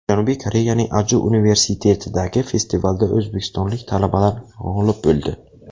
Janubiy Koreyaning Aju Universitetidagi festivalda o‘zbekistonlik talabalar g‘olib bo‘ldi .